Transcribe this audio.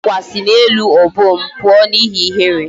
Ndi Agwa si n'elu obom pụọ n'ihe ihere